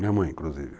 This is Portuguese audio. Minha mãe, inclusive.